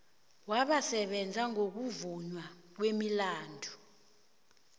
wabasebenza ngokuvunywa kwemilandu